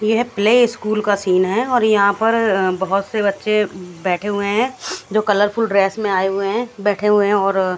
यह play school का scene है और यहां पर बहोत से बच्चे बैठे हुए हैं जो कलरफुल ड्रेस में आए हुए हैं बैठे हुए हैं और--